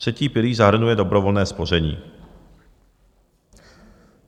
Třetí pilíř zahrnuje dobrovolné spoření.